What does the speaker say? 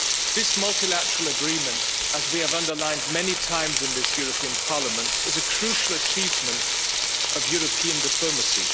This multilateral agreement, as we have underlined many times in this European Parliament, is a crucial achievement of European diplomacy.